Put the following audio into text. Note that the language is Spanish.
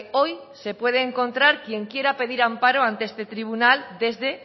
hoy se puede encontrar quien quiera pedir amparo ante este tribunal desde